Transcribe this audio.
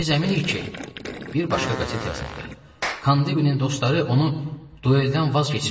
Biz əminik ki, bir başqa qəzet yazırdı, Kandibinin dostları onu dueldən vaz keçirəcəklər.